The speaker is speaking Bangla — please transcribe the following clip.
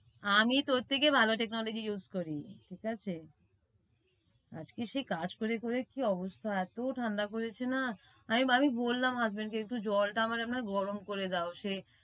আমি তোর থেকে ভাল technology use করি ঠিকাছে। আজকে সে কাজ করে করে কি অবস্থা, এত ঠাণ্ডা পরেছে না আ~আমি বললাম husband কে একটু জলটা আমার এমনে করে দাও সে,